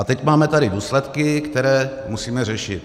A teď tady máme důsledky, které musíme řešit.